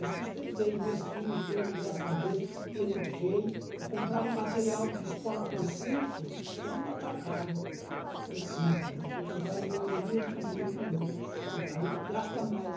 E sustentei meus filhos todos, graças a Deus, eduquei, eu comprava material de escola para os cinco, só no atacado, para os cinco, né, porque comprar de um em um é um prejuízo de louco, aí gasta mais.